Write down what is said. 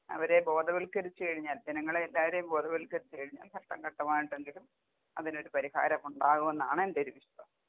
അവരെ ബോധവൽക്കരിച്ച് കഴിഞ്ഞാൽ ജനങ്ങളെ എല്ലാവരേം ബോധവൽക്കരിച്ച് കഴിഞ്ഞാൽ ഘട്ടം ഘട്ടമായിട്ടെങ്കിലും അതിനൊരു പരിഹാരം ഉണ്ടാകുമെന്നാണ് എന്റെ ഒരു വിശ്വാസം.